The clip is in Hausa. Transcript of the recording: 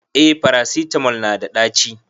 eh farasitamol nada daci